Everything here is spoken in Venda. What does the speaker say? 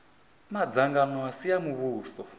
madzangano a si a muvhuso